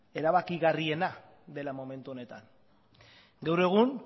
erabakigarriena dela momentu honetan gaur egun